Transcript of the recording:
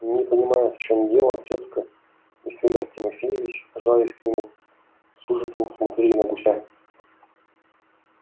не понимая в чём дело тётка и фёдор тимофеевич жались к нему с ужасом смотрели на гуся